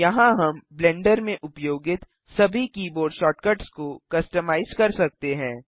यहाँ हम ब्लेंडर में उपयोगित सभी कीबोर्ड शॉर्टकट्स को कस्टमाइज़ कर सकते हैं